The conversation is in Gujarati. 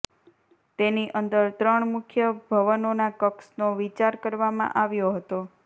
તેની અંદર ત્રણ મુખ્ય ભવનોના કક્ષનો વિચાર કરવામાં આવ્યો હતો